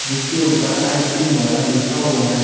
इसके ऊपर ice cream वाला लिखा हुआ है।